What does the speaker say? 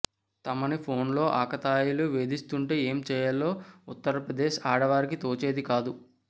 తమని ఫోన్లో ఆకతాయిలు వేధిస్తుంటే ఏం చేయాలో ఉత్తర్ప్రదేశ్ ఆడవారికి తోచేది కాదు